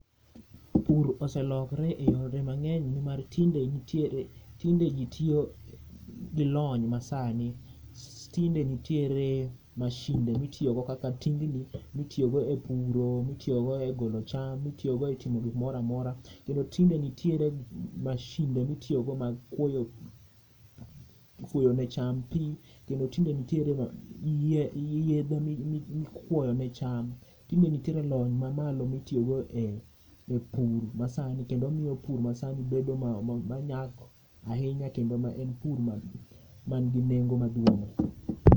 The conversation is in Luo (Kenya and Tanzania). Pur oselokore yore mangeny nimar tinde ji tiyo gi lony masani, tinde nitiere mashinde mitiyo go kaka tingni mitiyo go e puro, mitiyo go e golo cham, mitiyo go e timo gimoro amora kendo tinde nitiere mashinde mitiyo go mag kuoyo, kuoyo ne cham pii. Kendo tinde nitiere yedhe mikuoyo ne cham, tinde nitiere lony mamalo mitiyo go e pur masani kendo miyo pur masani bedo manyak ahinya kendo en pur manigi nengo maduong